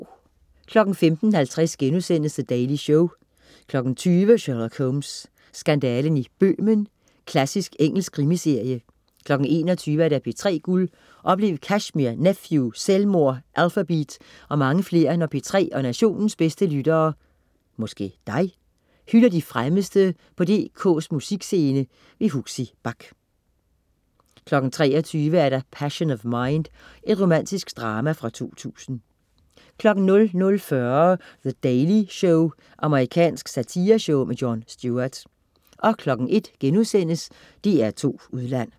15.50 The Daily Show* 20.00 Sherlock Holmes. Skandalen i Bøhmen. Klassisk engelsk krimiserie 21.00 P3 Guld. Oplev Kashmir, Nephew, Selvmord, Alphabeat og mange flere når P3 og nationens bedste lyttere (dig?) hylder de fremmeste på DKs musikscene. Huxi Bach 23.00 Passion Of Mind. Romantisk drama fra 2000 00.40 The Daily Show. Amerikansk satireshow. Jon Stewart 01.00 DR2 Udland*